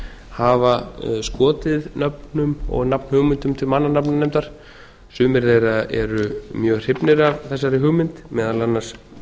hafa skotið nöfnum og nafnhugmyndum til mannanafnanefndar sumir þeirra eru mjög hrifnir af þessari hugmynd meðal annars